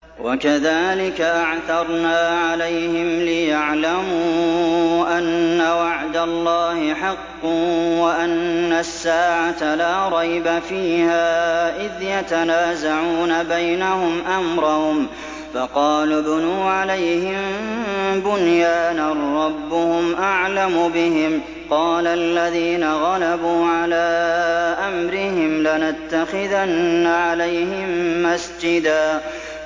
وَكَذَٰلِكَ أَعْثَرْنَا عَلَيْهِمْ لِيَعْلَمُوا أَنَّ وَعْدَ اللَّهِ حَقٌّ وَأَنَّ السَّاعَةَ لَا رَيْبَ فِيهَا إِذْ يَتَنَازَعُونَ بَيْنَهُمْ أَمْرَهُمْ ۖ فَقَالُوا ابْنُوا عَلَيْهِم بُنْيَانًا ۖ رَّبُّهُمْ أَعْلَمُ بِهِمْ ۚ قَالَ الَّذِينَ غَلَبُوا عَلَىٰ أَمْرِهِمْ لَنَتَّخِذَنَّ عَلَيْهِم مَّسْجِدًا